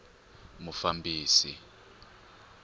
mufambisi